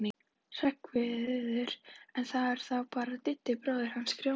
Hreggviður, en það var þá bara Diddi bróðir hans Grjóna.